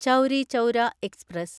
Chauri Chaura express